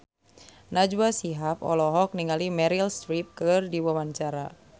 Najwa Shihab olohok ningali Meryl Streep keur diwawancara